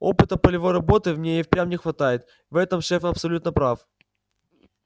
опыта полевой работы мне и впрямь не хватает в этом шеф абсолютно прав